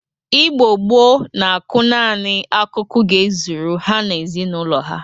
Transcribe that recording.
Igbo gboo na-akụ nani akụkụ ga ezuru ha na ezinaụlọ ha.